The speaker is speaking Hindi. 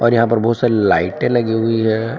यहां पर बहुत सारी लाइटें लगी हुई है।